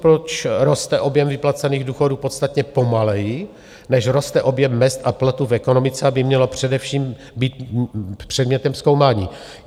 Proč roste objem vyplacených důchodů podstatně pomaleji, než roste objem mezd a platů v ekonomice, by mělo především být předmětem zkoumání.